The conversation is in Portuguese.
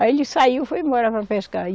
Aí ele saiu e foi embora para pescar. e